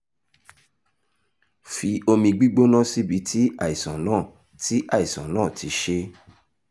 fi omi gbígbóná síbi tí àìsàn náà ti àìsàn náà ti ṣe é